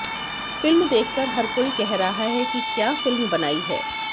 film देख कर हर कोई कह रहा है कि क्या फिल्म बनाई है